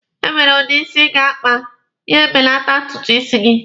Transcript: E nwere udi isi ị ga-akpa, ya e belata ntutu isi gị.